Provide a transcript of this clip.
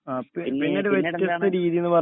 ആ പിന്നീട് പിന്നീടെന്താണ്